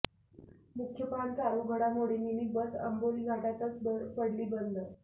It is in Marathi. मुख्य पान चालू घडामोडी मिनी बस आंबोली घाटातच पडली बंद